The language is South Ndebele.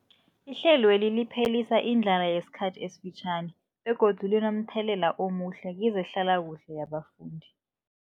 Ihlelweli liphelisa indlala yesikhathi esifitjhani begodu linomthelela omuhle kezehlalakuhle yabafundi.